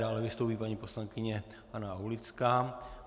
Dále vystoupí paní poslankyně Hana Aulická.